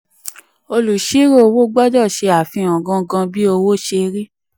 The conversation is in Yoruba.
olùsírò owó gbọdọ̀ ṣe àfihàn gangan bí owó ṣe rí.